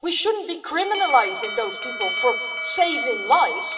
We shouldn't be criminalising those people for saving lives.